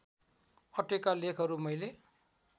अटेका लेखहरू मैले